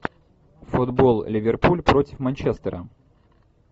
футбол ливерпуль против манчестера